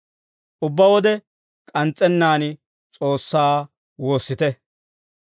Ubbaa wode k'ans's'ennaan S'oossaa woossite.